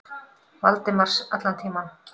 Valdimars allan tímann.